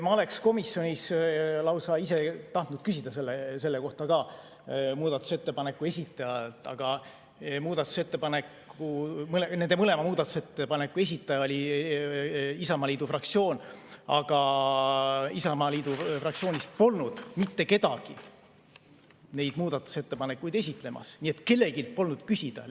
Ma oleks komisjonis lausa ise tahtnud küsida selle kohta ka muudatusettepaneku esitajalt, nende mõlema muudatusettepaneku esitaja oli Isamaa fraktsioon, aga Isamaa fraktsioonist polnud mitte kedagi neid muudatusettepanekuid esitlemas, nii et kelleltki polnud küsida.